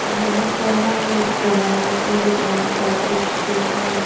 यहां पर हम एक दवाइयों की दुकान का दृश्य देख रहे हैं।